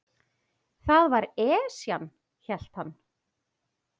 Það var Esjan, hélt hann.